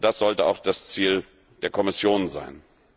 Das sollte auch das Ziel der Kommission sein.